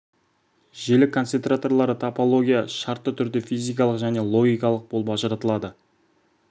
желі концентраторлары топология шартты түрде физикалық және логикалық болып ажыратылады